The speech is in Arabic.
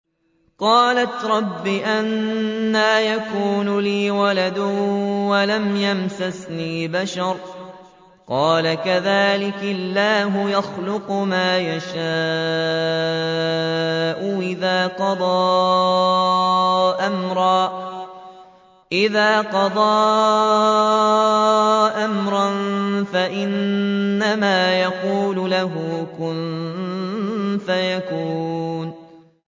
قَالَتْ رَبِّ أَنَّىٰ يَكُونُ لِي وَلَدٌ وَلَمْ يَمْسَسْنِي بَشَرٌ ۖ قَالَ كَذَٰلِكِ اللَّهُ يَخْلُقُ مَا يَشَاءُ ۚ إِذَا قَضَىٰ أَمْرًا فَإِنَّمَا يَقُولُ لَهُ كُن فَيَكُونُ